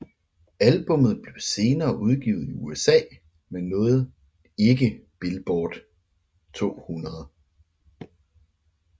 Albummet blev senere udgivet i USA men nåede ikke Billboard 200